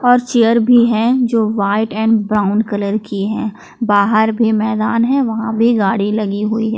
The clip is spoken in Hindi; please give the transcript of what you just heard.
और चेयर भी हैं जो व्हाइट एंड ब्राउन कलर की हैं बाहर भी मैदान है वहां भी गाड़ी लगीं हुए है।